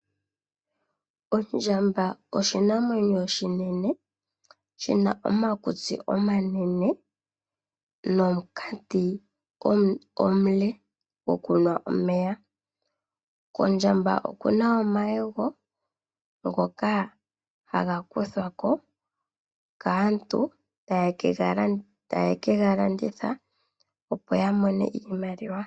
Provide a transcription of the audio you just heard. Ondjamba oshinamwenyo oshinene shi na omakutsi omanene nomunkati omule gokunwa omeya. Kondjamba oku na omayego ngoka haga kuthwa ko kaantu taye ke ga landitha, opo ya mone iimaliwa.